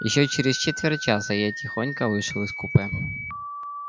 ещё через четверть часа я тихонько вышел из купе